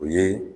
O ye